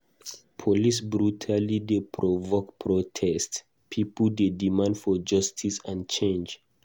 Police brutality dey provoke protest; pipo dey demand for justice and change.